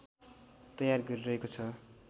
तयार गरिरहेको छ